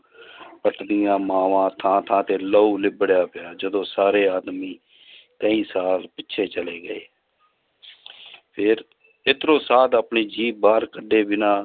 ਪਿੱਟਦੀਆਂ ਮਾਵਾਂ ਥਾਂ ਥਾਂ ਤੇ ਲਹੂ ਲਿਬੜਿਆ ਪਿਆ ਜਦੋਂ ਸਾਰੇ ਆਦਮੀ ਕਈ ਸਾਲ ਪਿੱਛੇ ਚਲੇ ਗਏ ਫਿਰ ਇੱਧਰੋਂ ਸਾਧ ਆਪਣੀ ਜੀਭ ਬਾਹਰ ਕੱਢੇ ਬਿਨਾਂ